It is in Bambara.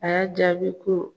A y'a jaabi ko